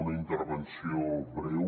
una intervenció breu